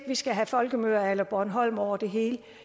vi skal have folkemøder a la bornholm over det hele